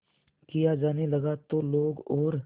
किया जाने लगा तो लोग और